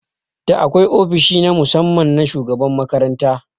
Da akwai ofishi na musamman na shugaban makaranta